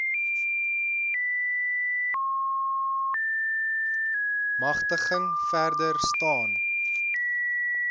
magtiging verder staan